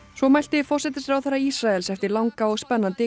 svo mælti forsætisráðherra Ísraels eftir langa og spennandi